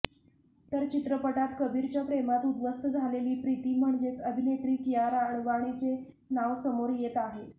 तर चित्रपटात कबीरच्या प्रेमात उध्वस्त झालेली प्रिती म्हणजेच अभिनेत्री कियारा अडवाणीचे नाव समोर येत आहे